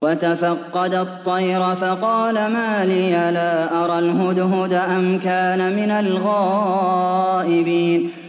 وَتَفَقَّدَ الطَّيْرَ فَقَالَ مَا لِيَ لَا أَرَى الْهُدْهُدَ أَمْ كَانَ مِنَ الْغَائِبِينَ